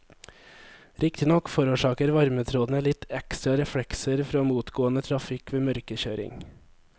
Riktignok forårsaker varmetrådene litt ekstra reflekser fra motgående trafikk ved mørkekjøring.